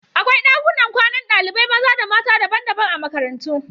Akwai ɗakunan kwanan ɗalibai maza da mata daban-daban a makarantu.